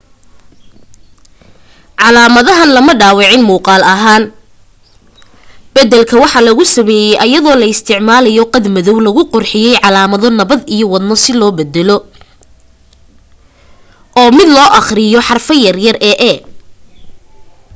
calaamadahan lama dhaawicin muuqal ahaan badalka waxaa lagu sameye ayadoo la isticmalayo qad madow lagu qurxiye calaamado nabad iyo wadno si loogu badalo o mid loo aqriyo xaraf yare e